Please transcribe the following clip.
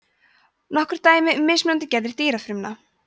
nokkur dæmi um mismunandi gerðir dýrafrumna